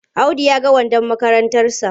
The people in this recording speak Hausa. Audu ya yaga wandon makarantarsa.